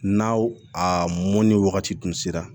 N'aw a mɔnni wagati dun sera